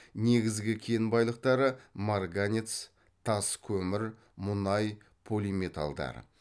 негізгі кен байлықтары марганец тас көмір мұнай полиметалдар